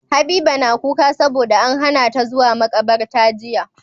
Habiba na kuka sabo da an hana ta zuwa makabarta jiya